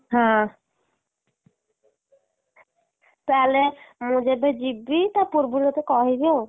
ହଁ, ତାହେଲେ, ମୁଁ ଯଦି ଯିବି ତା ପୂର୍ବରୁ ତତେ କହିବି ଆଉ।